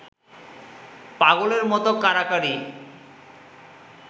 পাগলের মত কাড়াকাড়ি